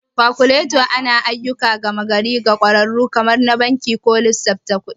Kalkuleta anayi ayyukan gama gari ga ƙwararru kamar na banki ko lissafin kuɗi.